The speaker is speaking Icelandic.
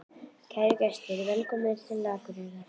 Kæru gestir! Velkomnir til Akureyrar.